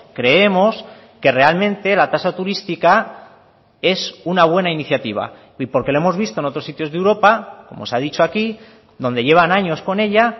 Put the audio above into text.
creemos que realmente la tasa turística es una buena iniciativa y porque lo hemos visto en otros sitios de europa como se ha dicho aquí donde llevan años con ella